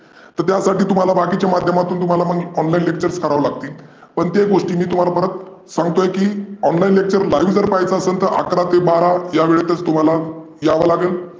तर त्या साठी तुम्हाला बाकिच्या माध्यमातून तुम्हाला मग online lecture करावे लागतील. पण ते गोष्टी मी तुम्हाला परत सांगतोय की online lecture live जर पहायचं असंल तर अकरा ते बारा या वेळेतचं तुम्हाला यावंं लागेल.